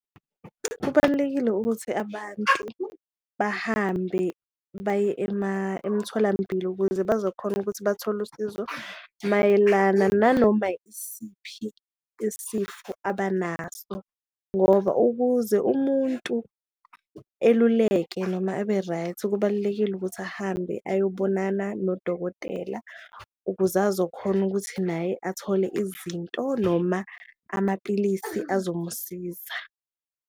Kubalulekile ukuthi abantu bahambe baye emtholampilo ukuze bazokhona ukuthi bathole usizo mayelana nanoma isiphi isifo abanaso, ngoba ukuze umuntu eluleke noma abe right kubalulekile ukuthi ahambe ayobonana nodokotela, ukuze azokhona ukuthi naye athole izinto noma amapilisi azomusiza.